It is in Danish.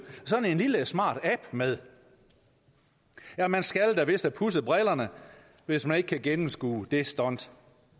sådan en lille smart app med ja man skal da vist have pudset brillerne hvis man ikke kan gennemskue det stunt